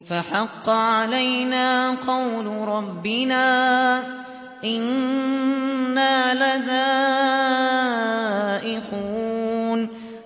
فَحَقَّ عَلَيْنَا قَوْلُ رَبِّنَا ۖ إِنَّا لَذَائِقُونَ